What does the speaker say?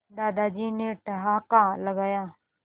दादाजी ने ठहाका लगाया